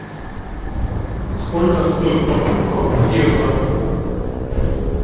сколько стоит покупка в евро